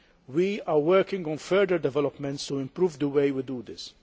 We are working on further developments to improve the way we do this.